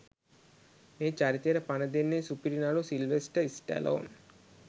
මේ චරිතයට පණ දෙන්නේ සුපිරි නළු සිල්වෙස්ටර් ස්ටැලෝන්